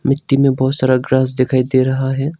मिट्टी में बहोत सारा ग्रास दिखाई दे रहा है।